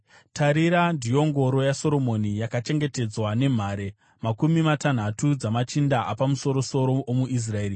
Tarirai! Ndiyo ngoro yaSoromoni, yakachengetedzwa nemhare makumi matanhatu dzamachinda, apamusoro-soro omuIsraeri.